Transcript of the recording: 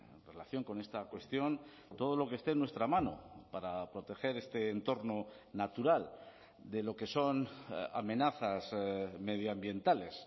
en relación con esta cuestión todo lo que esté en nuestra mano para proteger este entorno natural de lo que son amenazas medioambientales